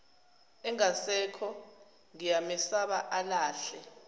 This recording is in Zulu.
engasekho ngiyamesaba alahle